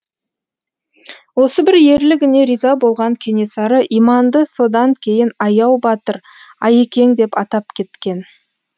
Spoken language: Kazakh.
осы бір ерлігіне риза болған кенесары иманды содан кейін аяу батыр аякең деп атап кеткен